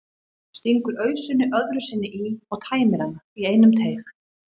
Stingur ausunni öðru sinni í og tæmir hana í einum teyg.